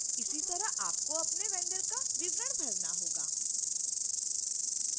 इसी तरह आपको अपने vendor का विवरण भरना होगा